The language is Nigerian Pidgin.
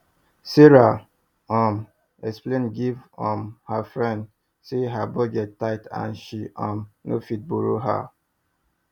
sarah um explain give um her friend say her budget tight and she um no fit borrow her